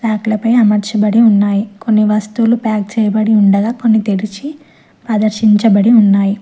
Rock లపై అమర్చాబడి ఉన్నాయి కొన్ని వస్తువులు ప్యాక్ చేయబడి ఉండగా కొన్ని తెరిచి ఆదర్శించబడి ఉన్నాయి.